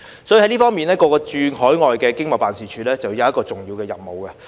在這方面，各個駐海外經濟貿易辦事處便有重要的任務。